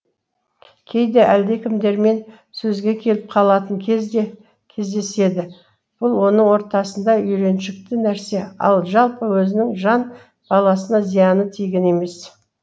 кейде әлдекімдермен сөзге келіп қалатын кез де кездеседі бұл оның ортасында үйреншікті нәрсе ал жалпы өзінің жан баласына зияны тиген емес